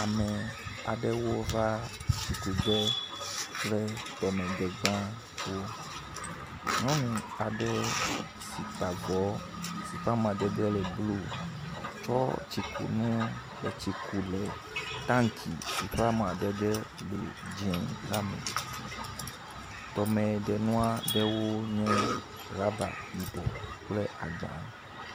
Ame aɖewo va tsikuge kple tɔmedegbawo. Nyɔnu aɖe si ta avɔ si ƒe amadede le blu tsɔ tsikunu le tsi kum le tanki si ƒe amadede le dzi la me. Tɔmdenua ɖewo nye ɖaba yibɔ kple agba.